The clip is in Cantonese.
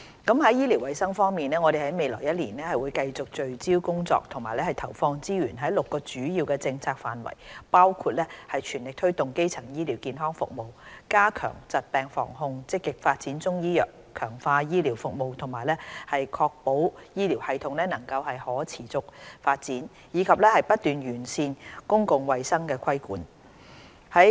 在醫療衞生方面，我們在未來1年會繼續在6個主要的政策範疇聚焦工作和投放資源，包括全力推動基層醫療健康服務；加強疾病防控；積極發展中醫藥；強化醫療服務；確保醫療系統能夠可持續發展；以及不斷完善公共衞生規管。